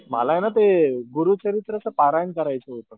मला ना ते गुरुचरित्रचं पारायण करायचं होतं.